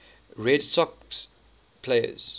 red sox players